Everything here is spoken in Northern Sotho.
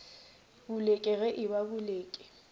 boleke ge e ba boleke